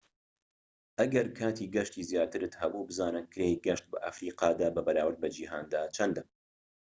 ئەگەر کاتی گەشتی زیاترت هەبوو بزانە کرێی گەشت بە ئەفریقادا بەراورد بە جیهاندا چەندە